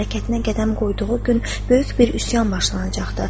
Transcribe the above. məmləkətinə qədəm qoyduğu gün böyük bir üsyan başlanacaqdı.